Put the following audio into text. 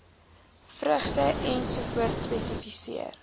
vrugte ens spesifiseer